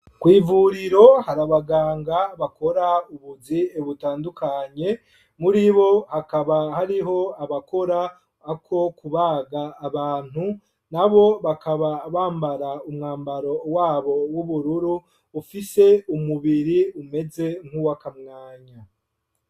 Kw'ivuriro hari abaganga bakora ubuzi butandukanye muribo hakaba hariho abakora ako kubaga abantu na bo bakaba bambara umwambaro wabo w'ubururu ufise umubiri umeze nkuw'akamwanya.